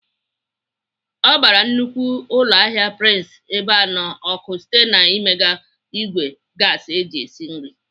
Ọ gbara nnukwu ụlọahịa Prince Ebeano ọkụ site n'imiga ìgwè gaasi eji esi nri.